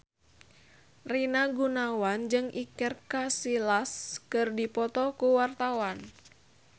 Rina Gunawan jeung Iker Casillas keur dipoto ku wartawan